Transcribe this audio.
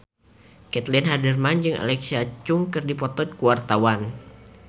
Caitlin Halderman jeung Alexa Chung keur dipoto ku wartawan